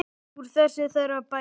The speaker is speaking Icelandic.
Úr þessu þarf að bæta.